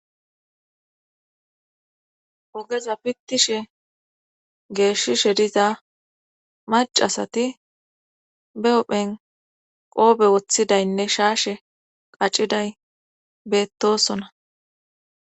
Ogeza pittishe geeshishe diza macasati be ophen qoobe woththidaynne shaashe qacciday beettosona